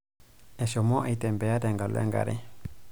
Eshomo aitembea tenkalo enkre.